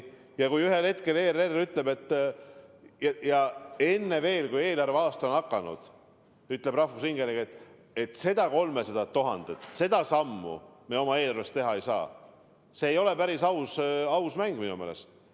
Ja kui ühel hetkel ERR ütleb, enne veel, kui uus eelarveaasta on alanud, rahvusringhääling ütleb, et seda 300 000 ta oma eelarvest eraldada ei saa, siis see ei ole päris aus mäng minu meelest.